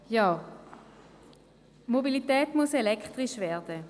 Die Mobilität muss elektrisch werden.